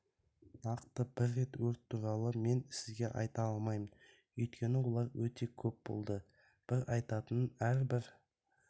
нақты бір өрт туралы мен сізге айта алмаймын өйткені олар өте көп болды бір айтатыным әрбір